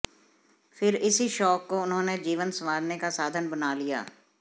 फिर इसी शौक को उन्होंने जीवन संवारने का साधन बना लिया